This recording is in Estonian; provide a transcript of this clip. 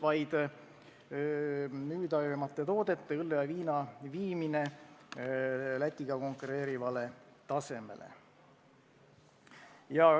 Kõige müüdavamate toodete, õlle ja viina hind tuleb viia Lätiga konkureerivale tasemele.